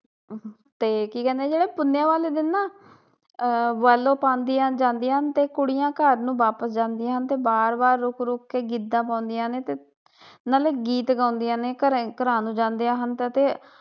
ਤੇ ਕੀ ਕਹਿੰਦੇ ਜਿਹੜਾ ਪੁਨਿਆ ਵਾਲੇ ਦਿਨ ਨਾ ਆਹ ਪਾਦੀਆ ਹਨ ਤੇ ਕੁੜੀਆਂ ਘਰ ਨੂੰ ਵਾਪਿਸ ਜਾਂਦੀਆਂ ਹਨ ਤੇ ਬਾਰ ਬਾਰ ਰੁੱਕ ਰੁੱਕ ਕੇ ਗਿੱਧਾ ਪਾਉਂਦੀਆਂ ਨੇ ਤੇ ਨਾਲੇ ਗੀਤ ਗਾਉਂਦੀਆਂ ਨੇ ਘਰੇ ਘਰ ਨੂੰ ਜਾਂਦਿਆ ਹਨ